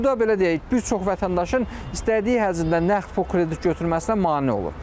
Bu da belə deyək, bir çox vətəndaşın istədiyi həcmdə nağd pul kredit götürməsinə mane olur.